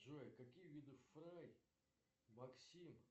джой какие виды фай максим